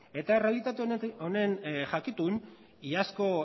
eta errealitate honen jakitun iazko